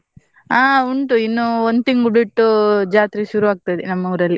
ಆ ಉಂಟು ಇನ್ನು ಒಂದ್ ತಿಂಗ್ಳು ಬಿಟ್ಟು ಜಾತ್ರೆ ಶುರು ಆಗ್ತದೆ ನಮ್ಮ ಊರಲ್ಲಿ.